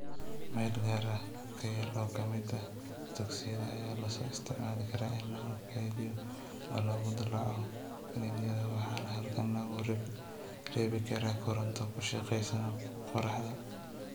Meel gaar ah (ka yar) oo ka mid ah dugsiyada ayaa loo isticmaali karaa in lagu kaydiyo oo lagu dallaco kiniiniyada, waxaana halkan lagu rakibi karaa koronto ku shaqaynaysa qoraxda.